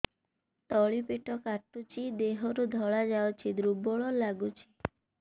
ତଳି ପେଟ କାଟୁଚି ଦେହରୁ ଧଳା ଯାଉଛି ଦୁର୍ବଳ ଲାଗୁଛି